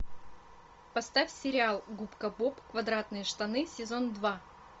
поставь сериал губка боб квадратные штаны сезон два